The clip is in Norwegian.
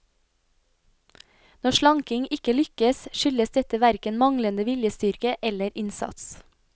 Når slanking ikke lykkes, skyldes dette hverken manglende viljestyrke eller innsats.